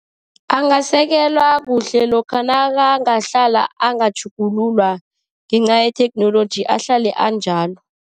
Angasekelwa kuhle lokha nakangahlala angatjhugululwa ngenca yetheknoloji, ahlale anjalo.